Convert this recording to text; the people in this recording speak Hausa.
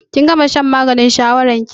Kin gama shan maganin shawarar ki?